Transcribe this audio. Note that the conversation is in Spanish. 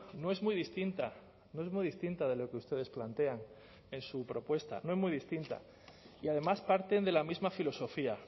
no es muy distinta no es muy distinta de lo que ustedes plantean en su propuesta no es muy distinta y además parten de la misma filosofía